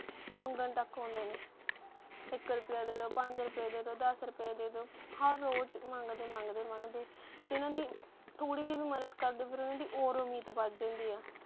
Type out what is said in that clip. ਮੰਗਣ ਤੱਕ ਆਉਂਦੇ ਨੇ, ਇੱਕ ਰੁਪਇਆ ਦੇ ਦਿਓ ਪੰਜ ਰੁਪਏ ਦੇ ਦਿਓ ਦੱਸ ਰੁਪਏ ਦੇ ਦਿਓ ਹਰ ਰੋਜ਼ ਮੰਗਦੇ ਮੰਗਦੇ ਮੰਗਦੇ ਇਹਨਾਂ ਦੀ ਥੋੜ੍ਹੀ ਜਿਹੀ ਵੀ ਮਦਦ ਕਰਦੋ ਫੇਰ ਇਹਨਾਂ ਦੀ ਹੋਰ ਉਮੀਦ ਵੱਧ ਜਾਂਦੀ ਆ,